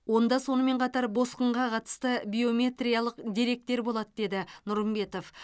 онда сонымен қатар босқынға қатысты биометриялық деректер болады деді нұрымбетов